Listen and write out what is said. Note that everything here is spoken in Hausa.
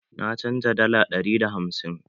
Na canja dala dari da hamsin.